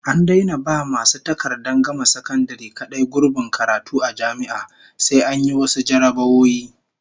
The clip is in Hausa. An daina ba masu takardar gama sakandare kadai gurbin karatu a jami'a, sai an yi wasu jarrabawoyi